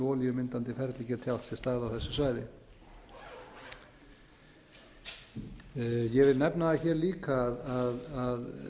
olíumyndandi ferli geti átt sér stað á þessu svæði ég vil nefna það hér líka að